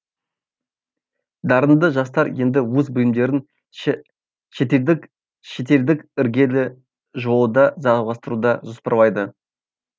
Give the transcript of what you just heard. дарынды жастар енді өз білімдерін шет шетелдік іргелі жоо да жалғастыруды жоспарлайды